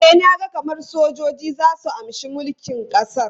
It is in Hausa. E, na ga kamar sojoji za su amshi mulkin ƙasar.